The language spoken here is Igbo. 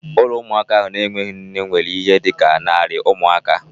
Ụlọ ụmụaka ahụ na-enweghị nne nwere ihe dị ka narị ụmụaka